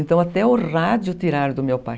Então até o rádio tiraram do meu pai.